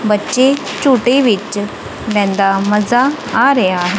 ਬੱਚੇ ਝੂੰਟੇ ਵਿੱਚ ਲੈਂਦਾ ਮਜ਼ਾ ਆ ਰਿਹਾ--